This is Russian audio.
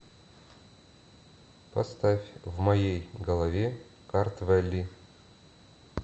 поставь в моей голове картвелли